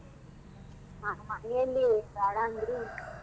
ಮನೆಯಲ್ಲಿ ಬ್ಯಾಡ ಅಂದ್ರು .